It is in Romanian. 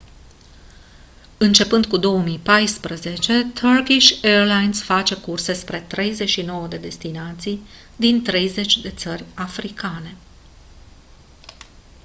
începând cu 2014 turkish airlines face curse spre 39 de destinații din 30 de țări africane